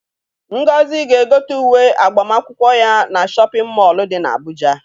Ngozi ga-egote uwe agbamakwụkwọ ya na shọpịn mọolụ dị n'Abụja.